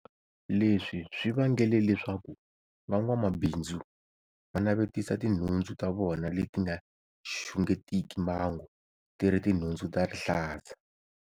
Leswi swi vangele leswaku van'wamabindzu va navetisa tinhundzu ta vona leti nga xungetiki mbangu ti ri tinhundzu ta rihlaza.